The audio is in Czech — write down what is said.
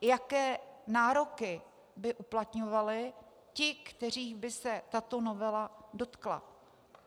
Jaké nároky by uplatňovali ti, kterých by se tato novela dotkla?